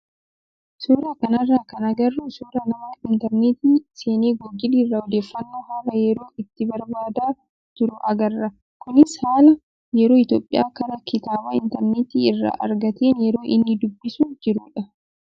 Suuraa kanarraa kan agarru suuraa nama intarneetii seenee googilii irraa odeeffannoo haala yeroo itti barbaadaa jiru agarra. Kunis haala yeroo Itoophiyaa karaa kitaaba intarneetii irraa argateen yeroo inni dubbisaa jirudha.